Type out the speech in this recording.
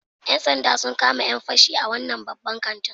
‘Yan sanda sun kama ‘yan fashi a wannan babban kantin